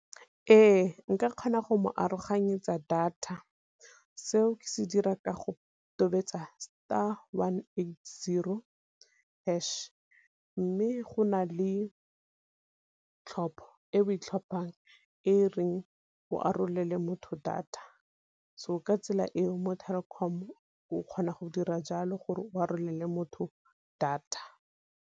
Ee, nka kgona go mo aroganyetsa data, seo ke se dira ka go tobetsa star one eight zero hash, mme go na le tlhopho e o e tlhophang e reng go arolele motho data, so ka tsela eo mo Telkom o kgona go dira jalo gore o arolele motho data.